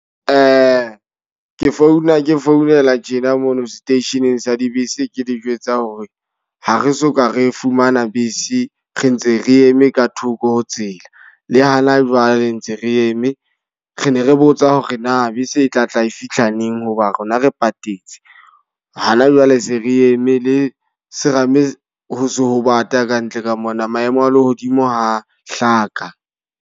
Ke founa ke founela tjena mona seteisheneng sa dibese. Ke le jwetsa hore ha re soka re fumana bese, re ntse re eme ka thoko ho tsela. Le hana jwale ntse re eme. Re ne re botsa hore na bese e tlatla e fihla neng? Hoba rona re patetse. Ha na jwale se re eme le serame ho se ho bata kantle ka mona. Maemo a lehodimo ha a hlaka.